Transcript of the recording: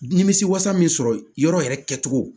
Nimisi wasa min sɔrɔ yɔrɔ yɛrɛ kɛ cogo